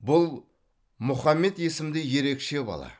бұл мұхаммед есімді ерекше бала